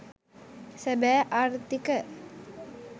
සැබෑ ආර්ථික